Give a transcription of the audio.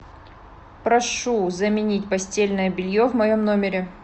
прошу заменить постельное белье в моем номере